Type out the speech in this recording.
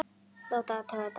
Láta athuga þetta.